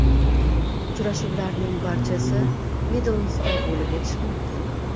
Uchrashuvlarning barchasi Midlendsda bo‘lib o‘tishi mumkin.